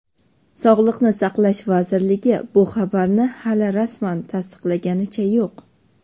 Sog‘liqni saqlash vazirligi bu xabarni hali rasman tasdiqlaganicha yo‘q.